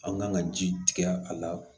An kan ka ji tigɛ a la